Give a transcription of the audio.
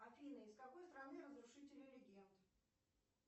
афина из какой страны разрушители легенд